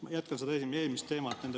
Ma jätkan seda eelmist teemat.